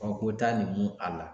ko ta nin mun a la.